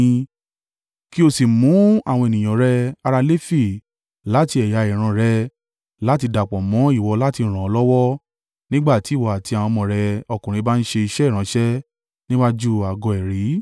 Kí o sì mú àwọn ènìyàn rẹ ará Lefi láti ẹ̀yà ìran rẹ láti dàpọ̀ mọ́ ìwọ láti ràn ọ́ lọ́wọ́ nígbà tí ìwọ àti àwọn ọmọ rẹ ọkùnrin bá ń ṣe iṣẹ́ ìránṣẹ́ níwájú Àgọ́ ẹ̀rí.